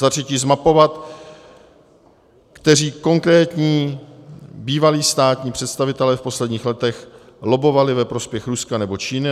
Za třetí zmapovat, kteří konkrétní bývalí státní představitelé v posledních letech lobbovali ve prospěch Ruska nebo Číny.